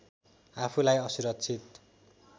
आफूलाई असुरक्षित